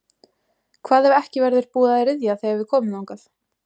Hvað ef ekki verður búið að ryðja þegar við komum þangað?